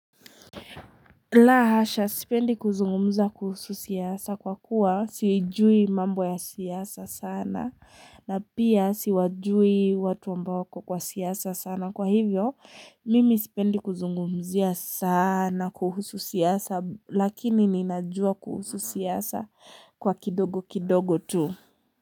La hasha sipendi kuzungumza kuhusu siasa kwa kuwa sijui mambo ya siasa sana na pia siwajui watu ambao kwa siasa sana kwa hivyo mimi sipendi kuzungumzia sana kuhusu siasa lakini ninajua kuhusu siasa kwa kidogo kidogo tu.